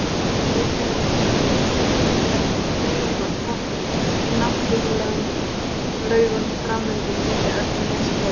Reykjavík þar sem þveginn var þvottur í náttúrlegum laugum fram undir miðja öldina sem leið.